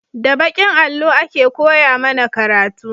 Da bakin allo a ke koya mana karatu